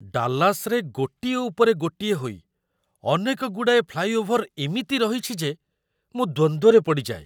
ଡାଲାସରେ ଗୋଟିଏ ଉପରେ ଗୋଟିଏ ହୋଇ ଅନେକଗୁଡ଼ାଏ ଫ୍ଲାଇଓଭର ଏମିତି ରହିଛି ଯେ ମୁଁ ଦ୍ୱନ୍ଦ୍ୱରେ ପଡ଼ିଯାଏ।